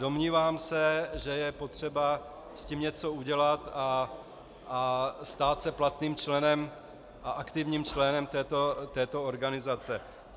Domnívám se, že je potřeba s tím něco udělat a stát se platným členem a aktivním členem této organizace.